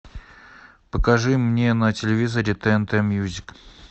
покажи мне на телевизоре тнт мьюзик